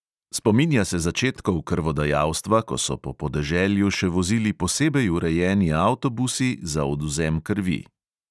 Spominja se začetkov krvodajalstva, ko so po podeželju še vozili posebej urejeni avtobusi za odvzem krvi.